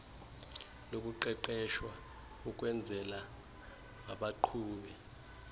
lokuqeqeshwa ukwenzelwa baqhube